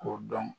K'o dɔn